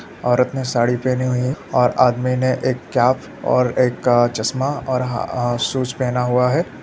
औरत ने साड़ी पेहनी हुई है और आदमी ने एक केप और एक काला चश्मा और ह शू पेहना हुआ है।